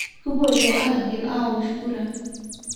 Kupoito aigil aawosh kura